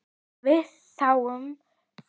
Við þáðum það.